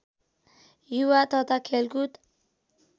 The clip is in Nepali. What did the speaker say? युवा तथा खेलकुद